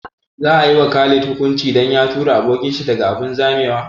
Za a yi wa Khalid hukunci dan ya tura abokin shi daga abun zamewa?